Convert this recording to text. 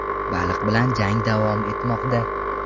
Baliq bilan jang davom etmoqda.